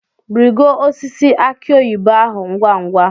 Rigo osisi aki oyibo ahu ngwa ngwa!